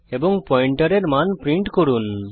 এবং পয়েন্টারের মান প্রিন্ট করুন